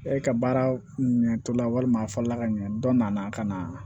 E ka baara ɲɛ tola walima a fa la ka ɲɛ dɔ nana ka na